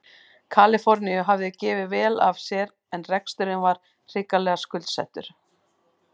Kaliforníu hafði gefið vel af sér en reksturinn var hrikalega skuldsettur.